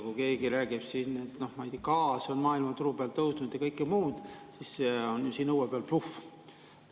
Kui keegi räägib siin, et gaasi on maailmaturul tõusnud ja kõike muud, siis see on siin õue peal bluff.